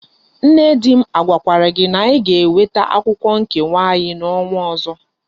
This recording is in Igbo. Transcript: Nne di m agwakwara gi na anyi ga enweta akwukwo nkewa anyi na onwa ozo?